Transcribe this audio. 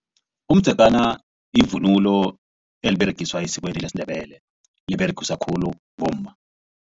Umdzegana yivunulo eliberegiswa esikweni lesiNdebele liberegiswa khulu bomma.